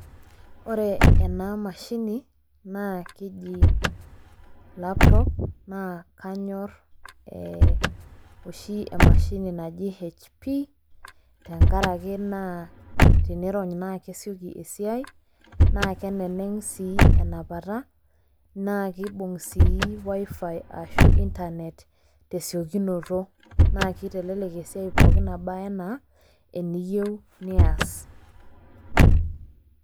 ore ena mashini naa keji laptop, naa kanyor oshi ee emashini naji hpmtenkaraki naa tenirony naa kesioki esiiai, naa keneneng' sii enapata, naa kibung' sii wifi ashu internet tesiokinoto naa kitelelek esiai pooki nabaa anaa eniyieu neyas.